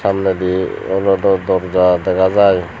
toladi olodey dorja dega jai.